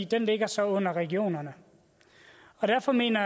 den ligger så under regionerne derfor mener